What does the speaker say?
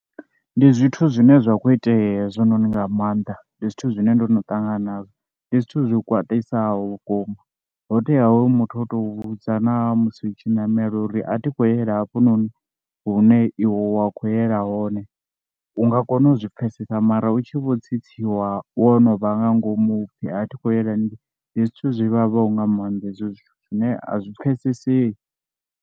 Ndi zwithu zwine zwa khou itea hezwi noni nga maanḓa, ndi zwithu zwine ndono ṱangana nazwo, ndi zwithu zwi khwaṱhisaho vhukuma, ho tea hoyu muthu o tou vhudza na musi u tshi namela uri a thi khou yela hafhononi hune iwe wa khou yela hone u nga kona u zwi pfhesesa mara u tshi vho tsitsiwa wo no vha nga ngomu upfhi a thi khou yela ndi zwithu zwivhavhaho nga maanḓa hezwo zwithu zwine a zwi pfhesesei.